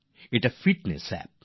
এটি fitness app